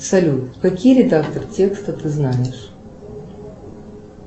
салют какие редакторы текста ты знаешь